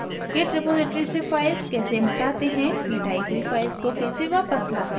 * git repository से file कैसे मिटाते हैं * मिटाई हुई file को कैसे वापस लाते हैं